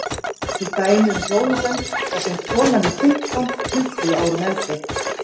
Það eru til dæmi um hjónabönd þar sem konan er fimmtán, tuttugu árum eldri.